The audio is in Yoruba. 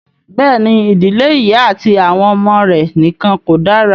Bẹ́ẹ̀ ni, ìdílé ìyá àti àwọn ọmọ rẹ̀ nìkan kò dára.